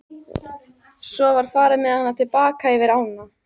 Svo var farið með hana til baka yfir ána.